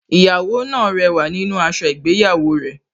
Ìyàwó náà rẹwà nínú aṣọ ìgbéyàwó rẹ̀